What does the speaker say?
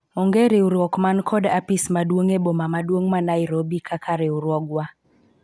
onge riwruok man kod apis maduong' e boma maduong' ma Nairobi kaka riwruogwa